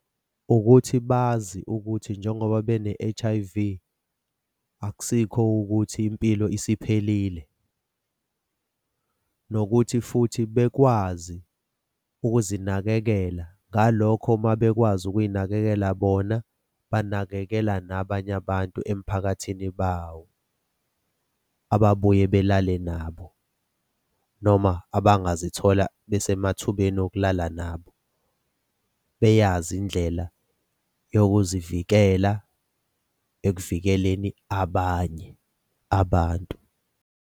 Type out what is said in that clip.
Ukuthi bazi ukuthi njengoba bene-H_I_V akusikho ukuthi impilo isiphelile, nokuthi futhi bekwazi ukuzinakekela. Ngalokho uma bekwazi ukuy'nakekela bona, banakekela nabanye abantu emphakathini bawo ababuye belale nabo noma uma abangazithola besemathubeni okulala nabo. Beyazi indlela yokuzivikela ekuvikeleni abanye abantu.